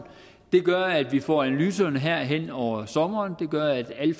det gør at vi får analyserne her hen over sommeren og det gør at alle